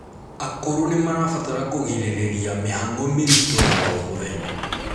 akũrũ nimarabatara kuigiririrĩa mihang'o miritu ya o mũthenya